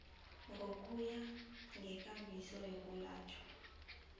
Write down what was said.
ngokuya ngeenkambiso zokwelatjhwa